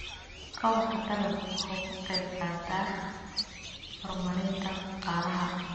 Kobaca dalaggu waxa uu ka qayb qaataa horumarinta dhaqaalaha.